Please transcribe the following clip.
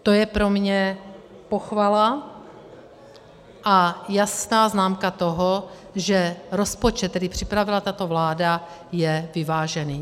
To je pro mě pochvala a jasná známka toho, že rozpočet, který připravila tato vláda, je vyvážený.